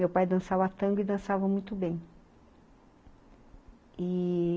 Meu pai dançava tango e dançava muito bem e...